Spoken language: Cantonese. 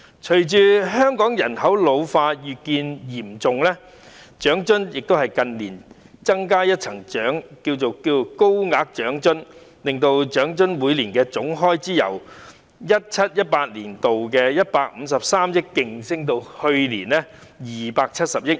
隨着香港人口老化越見嚴重，政府近年增加一項"高額長津"，每年在長津方面的總開支由 2017-2018 年度的153億元急升至去年的270億元。